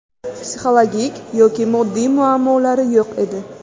Psixologik yoki moddiy muammolari yo‘q edi.